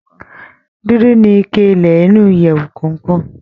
Dúdú ni ike ilẹ̀ inú ìyèwù kọọkan.